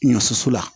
Ɲɔ soso la